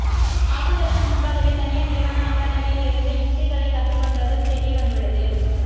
தாக்குதலுக்கு முன்பாகவே தனியார் நிறுவன அகாடமியில் இருந்து யுக்திகளை கற்றுக்கொண்டதும் தெரியவந்துள்ளது